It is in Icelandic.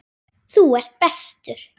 Þú ert bestur.